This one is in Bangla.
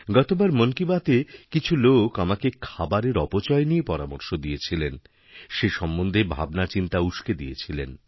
গতবার মন কি বাতএ কিছু লোক আমাকে খাবারের অপচয় নিয়ে পরামর্শ দিয়েছিলেন সেসম্বন্ধে ভাবনাচিন্তা উসকে দিয়েছিলেন